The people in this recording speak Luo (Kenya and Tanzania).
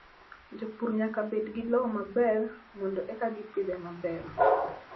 Jopur nyaka bed gi lowo maber mondo eka gipidhe maber.